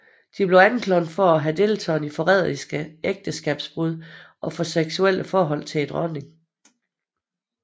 De blev anklaget for at have deltaget i forræderiske ægteskabsbrud og for seksuelle forhold til dronningen